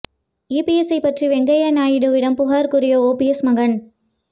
இபிஎஸ்சை பற்றி வெங்கையா நாயுடு விடம் புகார் கூறிய ஒபிஎஸ் மகன்